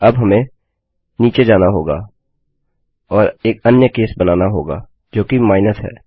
अब हमें नीचे जाना होगा और एक अन्य केस बनाना होगा जोकि minusमाइनस है